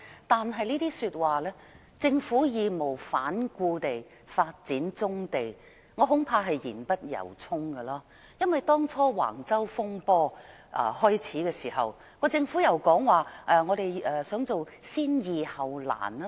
但是，我恐怕"政府會義無反顧地發展棕地"這句話是言不由衷，因為當橫洲風波開始時，政府說想採用先易後難的做法。